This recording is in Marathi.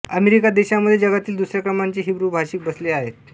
अमेरिका देशामध्ये जगातील दुसऱ्या क्रमांकाचे हिब्रू भाषिक वसले आहेत